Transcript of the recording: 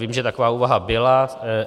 Vím, že taková úvaha byla.